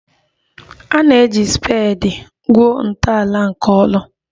A na-eji spedi gwuo ntọala nke ụlọ